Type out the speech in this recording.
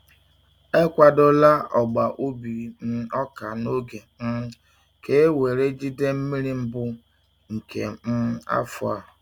E kwadola ọgba ubi um ọka n’oge um ka e were jide mmiri mbụ nke um afọ a.